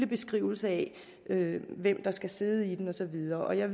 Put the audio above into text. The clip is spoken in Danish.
beskrivelse af hvem der skal sidde i den og så videre jeg